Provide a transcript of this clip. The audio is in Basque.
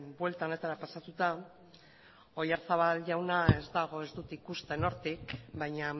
buelta honetara pasatuta oyarzabal jauna ez dago ez dut ikusten hortik baina